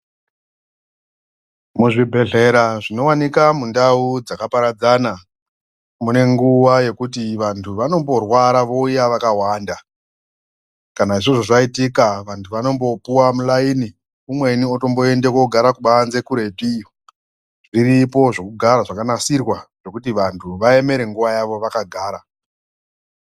Muzvibhehlera zvinowanika mundau dzakaparadzana mune nguwa yekuti vantu vanomborwara vouya vakawanda kana izvozvo zvaitika vantu vanotombopuwa mulaini umweni utomboende kogare kubanze kureti iyo. Zviripo zvekugara zvakanasirwa zvekuti vantu vaemere nguwa yavo vakagara